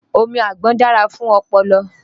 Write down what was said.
Omi àgbọn dára fún ọpọlọ.